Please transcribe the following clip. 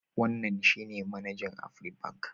Wannan shi ne manajan Afribank.